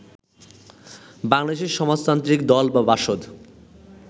বাংলাদেশের সমাজতান্ত্রিক দল বা বাসদ